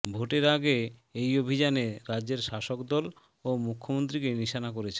ভোটের আগে এই অভিযানে রাজ্যের শাসক দল ও মুখ্যমন্ত্রীকে নিশানা করছেন